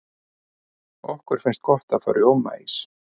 okkur finnst gott að fá rjómaís